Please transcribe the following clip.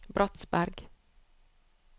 Bratsberg